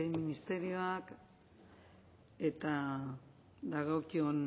ministerioak eta dagokion